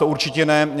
To určitě ne.